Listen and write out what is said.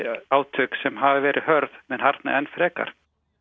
átök sem hafa verið hörð muni harðna enn frekar